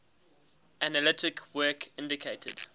analytic work indicated